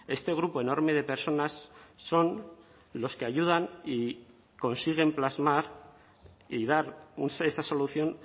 este grupo enorme de personas son los que ayudan y consiguen plasmar y dar esa solución